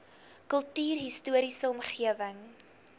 kultuurhis toriese omgewing